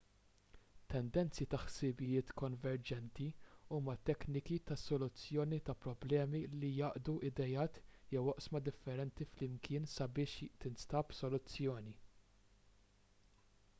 tendenzi ta' ħsibijiet konverġenti huma tekniki ta' soluzzjoni ta' problemi li jgħaqqdu ideat jew oqsma differenti flimkien sabiex tinstab soluzzjoni